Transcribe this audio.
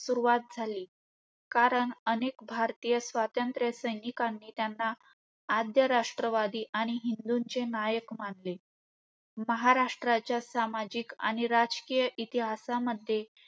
सुरुवात झाली. कारण अनेक भारतीय स्वतंत्र सैनिकांनी त्यांना आद्य राष्ट्रवादी आणि हिंदूंचे नायक मानले. महाराष्ट्राच्या सामाजिक राजकीय इतिहासामध्ये